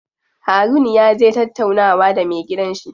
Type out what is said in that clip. Harun yaje tattaunawa da me gidan shi.